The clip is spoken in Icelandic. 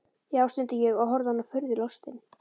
Já, stundi ég og horfði á hana furðulostinn.